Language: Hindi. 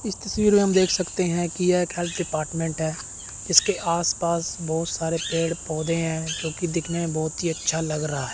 इस तस्वीर में हम देख सकते हैं कि यह एक हेल्थ डिपार्टमेंट है इसके आस पास बहोत सारे पेड़ पौधे हैं जोकि दिखने में बहोत ही अच्छा लग रहा--